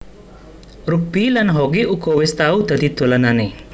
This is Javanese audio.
Rugbi lan hoki uga wis tau dadi dolananè